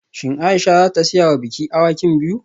Shin Aisha za ta siya wa biki awakin biyu?